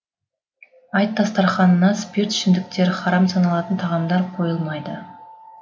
айт дастарханына спиртті ішімдіктер харам саналатын тағамдар қойылмайды